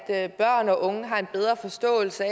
at børn og unge har en bedre forståelse